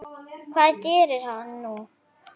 Hvað gerir hann nú?